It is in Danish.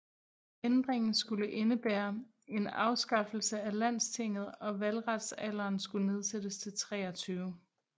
Ændringen skulle indebære en afskaffelse af landstinget og valgretsalderen skulle nedsættes til 23